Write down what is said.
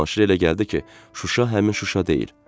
Cavanşirə elə gəldi ki, Şuşa həmin Şuşa deyil.